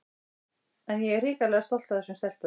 En ég er hrikalega stolt af þessum stelpum.